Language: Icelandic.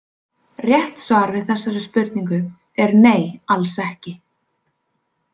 Rétt svar við þessari spurningu er: Nei, alls ekki.